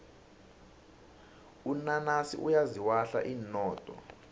unanasi uyaziwahla inodo